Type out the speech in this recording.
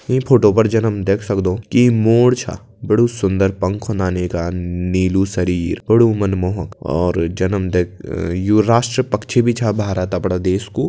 ईं फोटो पर जन हम देख सक्दों की मोर छ बड़ु सुन्दर पंख होंदा यीका नीलू शरीर बड़ु मनमोह और जन हम त यू राष्ट्रीय पक्षी भी छ भारत अपड़ा देश कू।